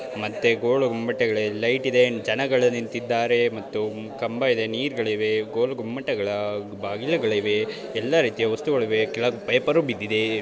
ಮತ್ತು ಗೋಲು ಗುಮ್ಮಟಗಳೆ ಲೈಟ್ ಇದೆ ಜನಗಳ ನಿಂತಿದ್ದಾರೆ ಮತ್ತು ಕಂಬ ಇದೆ ನೀರ್ ಗಳಿದೆ ಗೋಲು ಗೊಮ್ಮಟ ಬಾಗಿಲುಗಳಿವೆ ಎಲ್ಲ ರೀತಿಯ ವಸ್ತುಗಳಿವೆ ಕೆಳಗೆ ಪೈಪರು ಬಿದ್ದಿದೆ.